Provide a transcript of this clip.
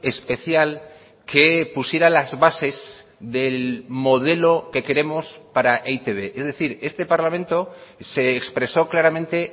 especial que pusiera las bases del modelo que queremos para e i te be es decir este parlamento se expresó claramente